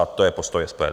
A to je postoj SPD.